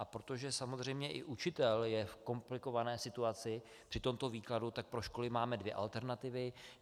A protože samozřejmě i učitel je v komplikované situaci při tomto výkladu, tak pro školy máme dvě alternativy.